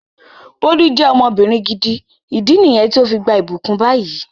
Bólú je ọmọbìnrin gidi, ìdí niyen to fi gbà ibukun bayi